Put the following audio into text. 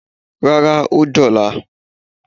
Rárá, ó dí ọ̀la.